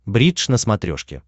бридж на смотрешке